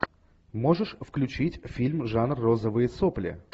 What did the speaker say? можешь включить фильм жанр розовые сопли